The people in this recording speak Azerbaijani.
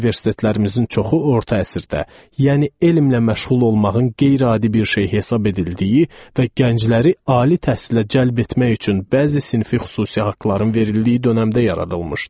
Universitetlərimizin çoxu orta əsrdə, yəni elmlə məşğul olmağın qeyri-adi bir şey hesab edildiyi və gəncləri ali təhsilə cəlb etmək üçün bəzi sinfi xüsusi haqların verildiyi dönəmdə yaradılmışdı.